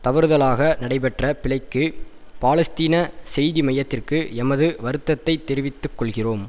தவறுதலாக நடைபெற்ற பிழைக்கு பாலஸ்தீன செய்தி மையத்திற்கு எமது வருத்தத்தை தெரிவித்துக்கொள்கிறோம்